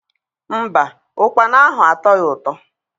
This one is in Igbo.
Mba, ụkpana ahụ atọghi ụtọ.